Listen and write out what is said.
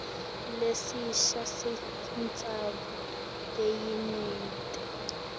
lesisha sentsandvo yelinyenti